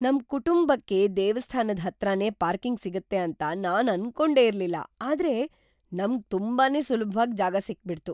ನಮ್ ಕುಟುಂಬಕ್ಕೆ ದೇವಸ್ಥಾನದ್ ಹತ್ರನೇ ಪಾರ್ಕಿಂಗ್ ಸಿಗುತ್ತೆ ಅಂತ ನಾನ್ ಅನ್ಕೊಂಡೆ ಇರ್ಲಿಲ್ಲ, ಆದ್ರೆ ನಮ್ಗ್‌ ತುಂಬಾನೇ ಸುಲಭ್ವಾಗ್ ಜಾಗ ಸಿಕ್ಬಿಡ್ತು.